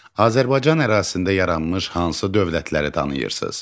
Azərbaycan ərazisində yaranmış hansı dövlətləri tanıyırsız?